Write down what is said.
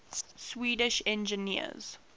swedish engineers